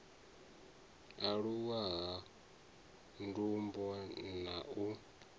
aluwa ha ndumbo na u